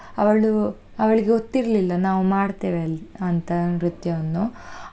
ಅವಳು ಅವಳಿಗೆ ಗೊತ್ತಿರ್ಲಿಲ್ಲ ನಾವು ಮಾಡ್ತೇವೆ ಅಲ್ಲಿ ಅಂತ ನೃತ್ಯವನ್ನು.